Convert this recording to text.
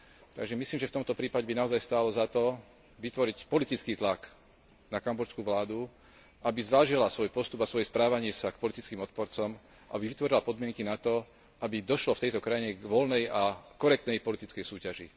Takže myslím, že v tomto prípade by naozaj stálo za to vytvoriť politický tlak na kambodžskú vládu, aby zvážila svoj postup a svoje správanie sa k politickým odporcom, aby vytvorila podmienky na to, aby došlo v tejto krajine k voľnej a korektnej politickej súťaži.